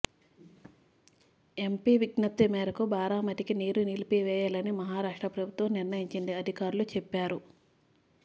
MP విజ్ఞప్తి మేరకు బారామతికి నీరు నిలిపివేయాలని మహారాష్ట్ర ప్రభుత్వం నిర్ణయించిందని అధికారులు చెప్పారు